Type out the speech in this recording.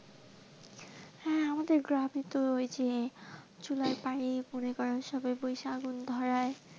হ্যাঁ আমাদের গ্রামে তো ঐ যে চুলাই পাইপ বসে আগুন ধরাই।